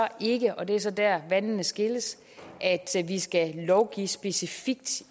ikke og det er så der vandene skilles at vi skal lovgive specifikt